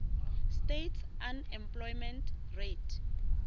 states unemployment rate